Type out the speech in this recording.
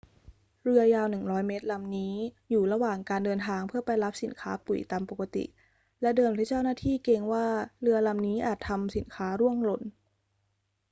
เรือยาว 100 เมตรลำนี้อยู่ระหว่างการเดินทางเพื่อไปรับสินค้าปุ๋ยตามปกติ และเดิมที่เจ้าหน้าที่เกรงว่าเรือลำนี้อาจทำสินค้าร่วงหล่น